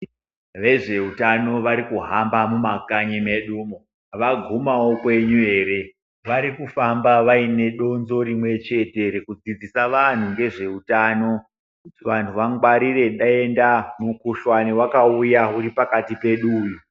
Vezve utano varikuhamba mu makanyi medumo vagumawo kwenyu ere vari kufamba vaine donzo rimwe chete reku dzidzisa vanhu ngezve utano kuti vantu vangwarire denda mu kuhlani wakauya uri pakati pedu uyu.